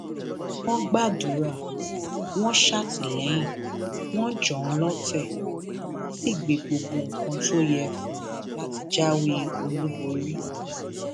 wọn gbàdúrà wọn ṣàtìlẹyìn wọn jàn án lóǹtẹ wọn sì ṣe gbogbo nǹkan tó yẹ fún un láti jáwé olúborí